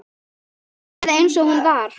Eða eins og hún var.